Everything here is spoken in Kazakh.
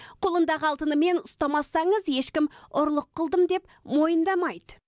қолындағы алтынымен ұстамасаңыз ешкім ұрлық қылдым деп мойындамайды